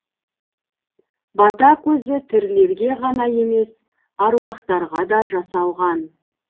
бата көзі тірілерге ғана емес аруақтарға да жасалған